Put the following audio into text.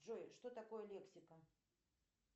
джой что такое лексика